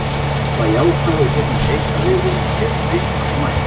Það jákvæða úr þessum leik er að við vorum betri fram að markinu.